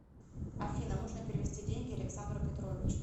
афина нужно перевести деньги александру петровичу